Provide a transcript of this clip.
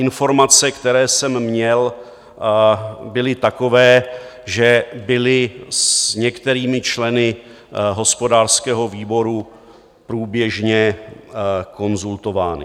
Informace, které jsem měl, byly takové, že byly s některými členy hospodářského výboru průběžně konzultovány.